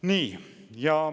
Nii.